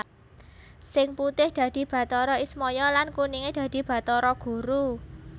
Sing putih dadi Bathara Ismaya lan kuninge dadi Bathara Guru